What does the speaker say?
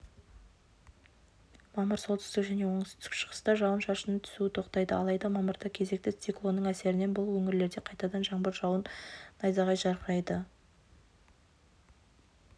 мамыр солтүстік және оңтүстік-шығыста жауын-шашынның түсуі тоқтайды алайда мамырда кезекті циклонның әсерінен бұл өңірлерде қайтадан жаңбыр жауып найзағай жарқырайды